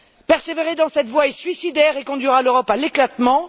Persévérer dans cette voie est suicidaire et conduira l'Europe à l'éclatement.